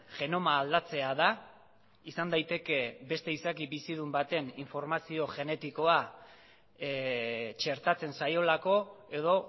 genoma aldatzea da izan daiteke beste izaki bizidun baten informazio genetikoa txertatzen zaiolako edo